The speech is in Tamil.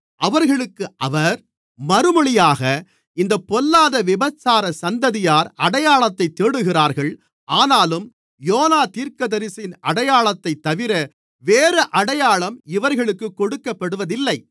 அவர்களுக்கு அவர் மறுமொழியாக இந்தப் பொல்லாத விபசாரச் சந்ததியார் அடையாளத்தைத் தேடுகிறார்கள் ஆனாலும் யோனா தீர்க்கதரிசியின் அடையாளத்தைத்தவிர வேறு அடையாளம் இவர்களுக்குக் கொடுக்கப்படுவதில்லை